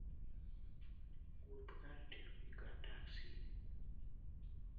Wuoth kar tiyo gi taksi.